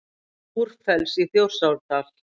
Búrfells í Þjórsárdal.